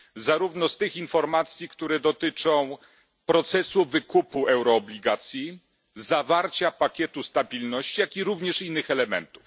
Zarówno z tych informacji, które dotyczą procesu wykupu euroobligacji, zawarcia pakietu stabilności, jak i również innych elementów.